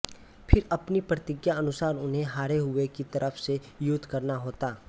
फिर अपनी प्रतिज्ञा अनुसार उन्हें हारे हुए की तरफ से युद्ध करना होता